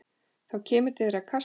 Þá kemur til þeirra kasta.